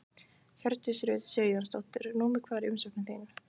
Hjördís Rut Sigurjónsdóttir: Númer hvað er umsóknin þín?